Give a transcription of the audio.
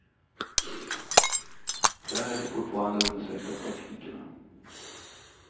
Där är det fortfarande och undersöks av teknikerna.